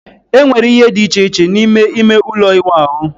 Enwere ihe dị iche iche n'ime ime ụlọ ịwụ ahụ